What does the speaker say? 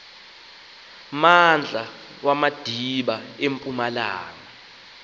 mmandla wamadiba empumalanga